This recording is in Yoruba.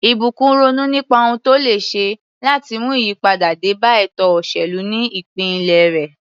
Ìbùkún ronú nípa ohun tó lè ṣe láti mú ìyípadà dé bá ètò òṣèlú ní ìpínlẹ̀ rẹ̀.